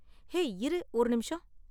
hey, இரு ஒரு நிமிஷம்